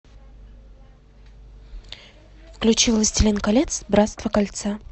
включи властелин колец братство кольца